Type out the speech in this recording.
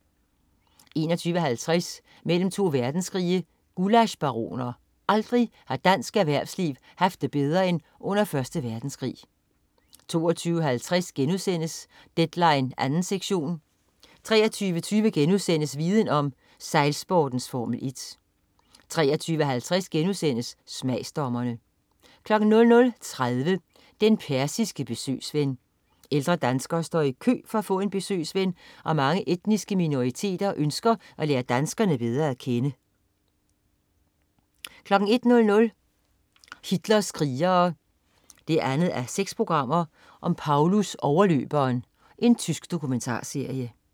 21.50 Mellem to verdenskrige. Gullaschbaroner. Aldrig har dansk erhvervsliv haft det bedre end under Første Verdenskrig 22.50 Deadline 2. sektion* 23.20 Viden om: Sejlsportens Formel 1* 23.50 Smagsdommerne* 00.30 Den persiske besøgsven. Ældre danskere står i kø for at få en besøgsven, og mange etniske minoriteter ønsker at lære danskerne bedre at kende 01.00 Hitlers krigere 2:6. Paulus, overløberen. Tysk dokumentarserie